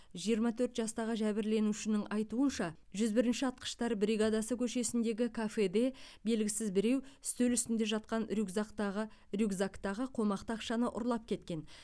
жиырма төрт жастағы жәбірленушінің айтуынша жүз бірінші атқыштар бригадасы көшесіндегі кафеде белгісіз біреу үстел үстінде жатқан рюкзактағы рюкзактағы қомақты ақшаны ұрлап кеткен